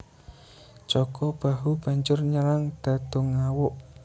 Jaka Bahu banjur nyerang Dadungawuk